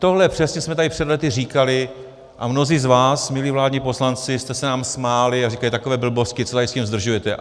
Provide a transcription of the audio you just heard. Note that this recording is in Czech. Tohle přesně jsme tady před lety říkali a mnozí z vás, milí vládní poslanci, jste se nám smáli a říkali: takové blbosti, co tady s tím zdržujete.